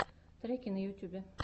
треки на ютюбе